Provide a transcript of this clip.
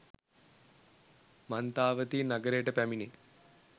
මන්තාවතී නගරයට පැමිණේ